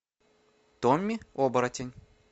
томми оборотень